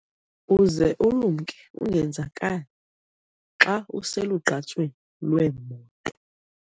Uze ulumke ungenzakali xa uselugqatsweni lweemoto.